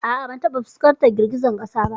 A'a ban taba fuskantar girgizar kasa ba.